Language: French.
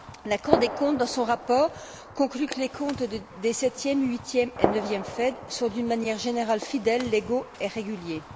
La Cour des comptes, dans son rapport, conclut que les comptes des septième, huitième et neuvième FED sont, d'une manière générale, fidèles, légaux et réguliers.